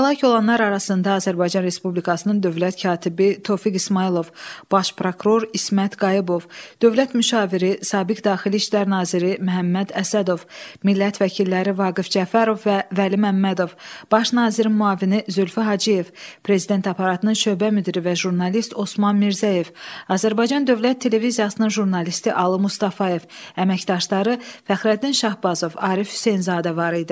Həlak olanlar arasında Azərbaycan Respublikasının dövlət katibi Tofiq İsmayılov, baş prokuror İsmət Qayıbov, dövlət müşaviri Sabiq Daxili İşlər naziri Məhəmməd Əsədov, millət vəkilləri Vaqif Cəfərov və Vəli Məmmədov, baş nazirin müavini Zülfü Hacıyev, prezident aparatının şöbə müdiri və jurnalist Osman Mirzəyev, Azərbaycan Dövlət Televiziyasının jurnalisti Alı Mustafayev, əməkdaşları Fəxrəddin Şahbazov, Arif Hüseynzadə var idi.